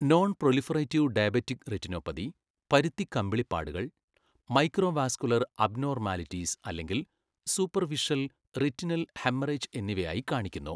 Non proliferative diabetic retinopathy, പരുത്തി കമ്പിളി പാടുകൾ, മൈക്രോവാസ്കുലർ അബ്നോർമാലിറ്റീസ് അല്ലെങ്കിൽ സൂപർഫിഷൽ റെറ്റിനൽ ഹെമ്മറെജ് എന്നിവയായി കാണിക്കുന്നു.